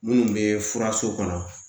Minnu bɛ furaso kɔnɔ